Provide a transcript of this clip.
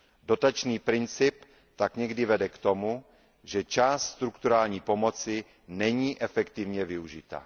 Dotační princip tak někdy vede k tomu, že část strukturální pomoci není efektivně využita.